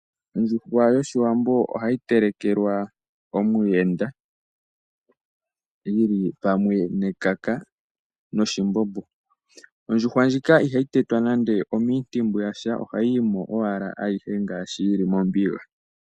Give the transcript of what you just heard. Ondjuhwa yOshiwambo hayi telekelwa omuyenda, yili pamwe nekaka noshimbbo. Ondjuhwa ndjika ihayi tetwapo nande omiintimbu yasha, ohayi mo owala aihe yuudha mombuga.